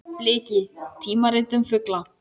Bliki: tímarit um fugla.